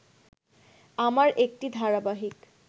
আমার একটি ধারাবাহিক